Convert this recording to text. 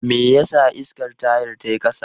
Me yasa iskan tayar ta yi ƙasa?